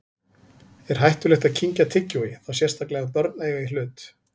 Er hættulegt að kyngja tyggjói, þá sérstaklega ef börn eiga í hlut?